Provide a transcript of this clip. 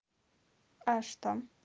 а что